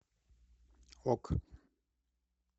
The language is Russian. ок